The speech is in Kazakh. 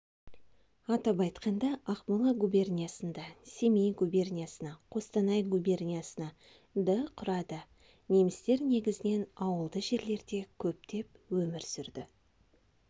атап айтқанда ақмола губерниясында семей губерниясына қостанай губерниясына ды құрады немістер негізінен ауылды жерлерде көптеп өмір сүрді